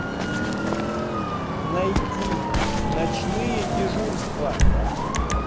найти ночные дежурства